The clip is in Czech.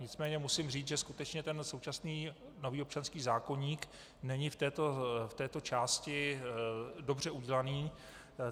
Nicméně musím říct, že skutečně ten současný nový občanský zákoník není v této části dobře udělaný.